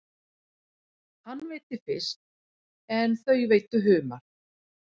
Hann veiddi fisk en þau veiddu humar.